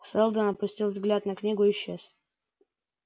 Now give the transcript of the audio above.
сэлдон опустил взгляд на книгу и исчез